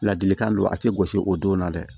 Ladilikan don a tɛ gosi o don na dɛ